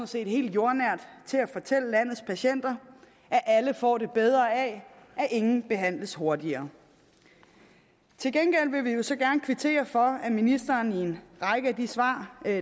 set helt jordnært til at fortælle landets patienter at alle får det bedre af at ingen behandles hurtigere til gengæld vil vi jo så gerne kvittere for at ministeren i en række af de svar